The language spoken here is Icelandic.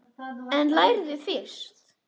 En lærðu fyrst.